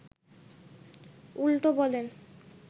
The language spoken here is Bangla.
উল্টো বলেন